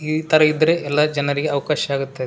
ಇತರ ಇದ್ರೆ ಎಲ್ಲ ಜನರಿಗೆ ಅವ್ಕಾಶ ಆಗತ್ತದೆ.